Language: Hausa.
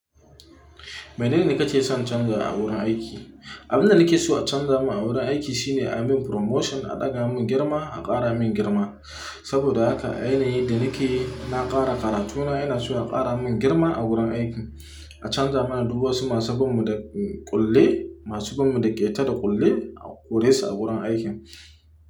Menene kake son canza a wurin aiki? Abin da nake so a canza mana wurin aiki shine a min promotion, a ɗaga mun girma, a ƙara min girma. Saboda haka ai na yi da nake yi, na ƙara karatuna, ina so a ƙara mun girma a wurin aiki. A canza mana duk wasu masu bamu da ƙulle, masu bamu da ƙeta da ƙulle, koresu a wurin aikin.